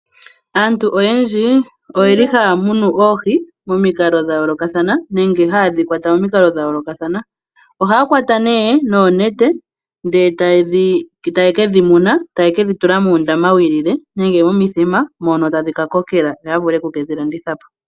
Aantu oyendji oye li haya munu oohi momikalo dha yoolokathana nenge haye dhi kwata momikalo dha yoolokathana. Ohaya kwata noonete ndele taye ke dhi muna, taye ke dhi tula muundama wu ilile nenge taye ke dhi tula momithima moka tadhi ka kokela yo ya vule oku ke dhi landitha po.